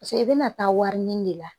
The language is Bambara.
Paseke i bɛna taa wariɲini de la